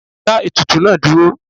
Dáa ètùtù náà dúró!